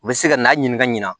U bɛ se ka n'a ɲini ka ɲina